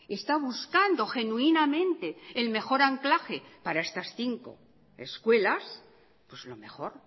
está buscando genuinamente el mejor anclaje para estas cinco escuelas pues lo mejor